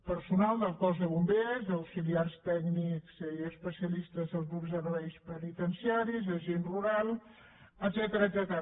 personal del cos de bombers d’auxiliars tècnics i especialistes dels grups de serveis penitenciaris agents rurals etcètera